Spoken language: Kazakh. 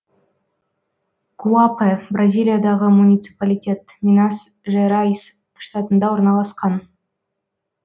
гуапе бразилиядағы муниципалитет минас жерайс штатында орналасқан